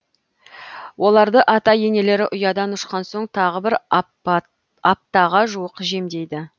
оларды ата енелері ұядан ұшқан соң тағы бір аптаға жуық жемдейді